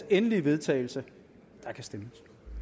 endelige vedtagelse og der kan stemmes